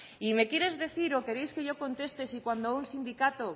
y me quieres decir o queréis que yo conteste si cuando un sindicato